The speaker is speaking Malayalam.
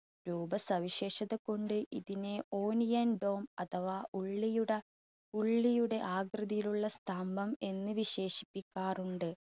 രൂപസവിശേഷത കൊണ്ട് ഇതിനെ onion dome അഥവാ ഉള്ളിയുട, ഉള്ളിയുടെ ആകൃതിയിലുള്ള സ്തംഭം എന്ന് വിശേഷിപ്പിക്കാറുണ്ട്.